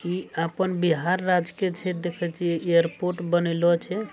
ई अपन बिहार राज्य के क्षेत्र देखे छिये एयरपोर्ट बनेलो छे।